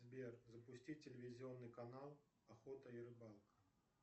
сбер запустить телевизионный канал охота и рыбалка